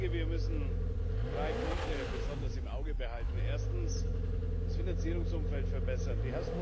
Wir müssen drei Punkte besonders im Auge behalten erstens das Finanzierungsumfeld verbessern.